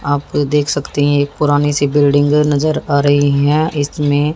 आप लोग देख सकती है एक पुरानी सी बिल्डिंग नजर आ रही है इसमें--